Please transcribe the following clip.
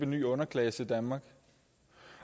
ny underklasse i danmark